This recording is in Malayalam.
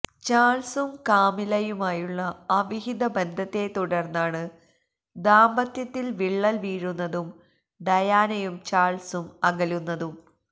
ചാൾസും കാമിലയുമായുള്ള അവിഹിത ബന്ധത്തെത്തുടർന്നാണ് ദാമ്പത്യത്തിൽ വിള്ളൽ വീഴുന്നതും ഡയാനയും ചാൾസും അകലുന്നതും